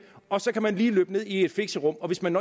og så kan man lige løbe ned i et fixerum og hvis man